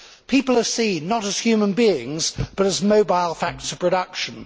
People are seen not as human beings, but as mobile factors of production.